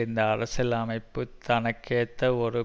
இந்த அரசியலமைப்பு தன்னகேத்த ஒரு